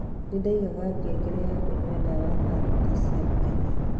nĩ ndaigaga ngengere gĩa kũnyua ndawa thaa thita cia mũthenya